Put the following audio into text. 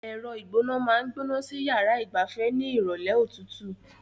Ẹ̀rọ ìgbóná máa ń gbóná sí yàrá ìgbafẹ́ ní ìrọ̀lẹ́ òtútù.